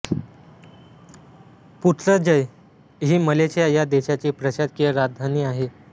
Putrajaya ही Malaysia ह्या देशाची प्रशासकीय राजधानी आहे